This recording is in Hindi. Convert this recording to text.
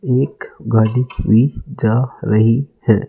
एक गाड़ी भी जा रही है।